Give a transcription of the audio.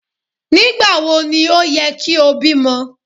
Nígbàwo ni ó ye kí o bímo